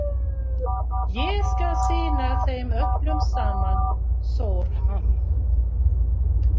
Ég skal sýna þeim öllum saman, sór hann.